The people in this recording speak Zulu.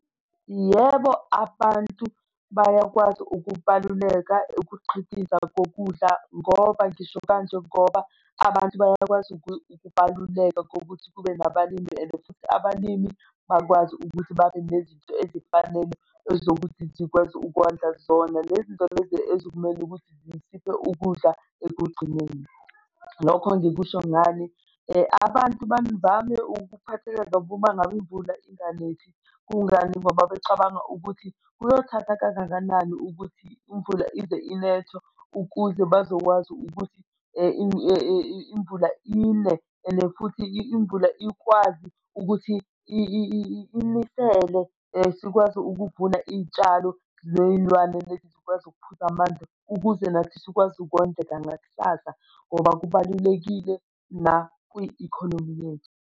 Yebo, abantu bayakwazi ukubaluleka ukuqhikiza kokudla ngoba ngisho kanje ngoba abantu bayakwazi ukubaluleka kokuthi kube nabalimi, and futhi abalimi bakwazi ukuthi babe nezinto ezifanele ezokuthi zikwazi ukondla zona lezi zinto lezi ekumele ukuthi zisiphe ukudla ekugcineni. Lokho ngikusho ngani? Abantu bavame ukuphatheka kabe uma ngabi imvula inganethi. Kungani? Ingoba becabanga ukuthi kuyothatha kangakanani ukuthi imvula ize inethe ukuze bazokwazi ukuthi imvula ine and futhi imvula ikwazi ukuthi inisele sikwazi ukuvuna iy'tshalo ney'lwane lezi zikwazi ukuphuza amanzi ukuze nathi sikwazi ukondleka nakusasa ngoba kubalulekile nakwi-economy yethu.